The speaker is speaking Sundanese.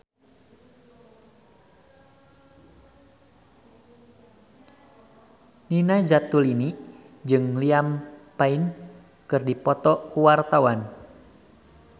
Nina Zatulini jeung Liam Payne keur dipoto ku wartawan